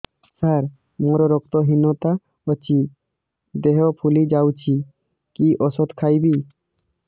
ସାର ମୋର ରକ୍ତ ହିନତା ଅଛି ଦେହ ଫୁଲି ଯାଉଛି କି ଓଷଦ ଖାଇବି